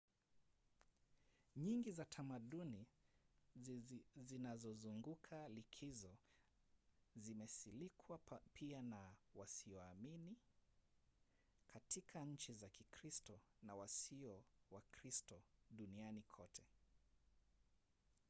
nyingi za tamaduni zinazozunguka likizo zimesilikwa pia na wasioamini katika nchi za kikristo na wasio wakristo duniani kote